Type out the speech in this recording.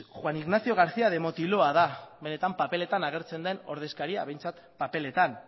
juan ignacio garcía de motiloa da benetan paperetan agertzen den ordezkaria behintzat paperetan